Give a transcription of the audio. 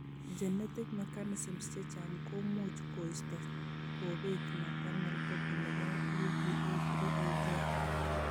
Genetic mechanisms chechang' komuch koisto kobet maternal copy nebo ube3a gene